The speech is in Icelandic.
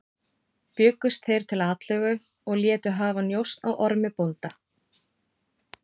Bjuggust þeir til atlögu og létu hafa njósn á Ormi bónda.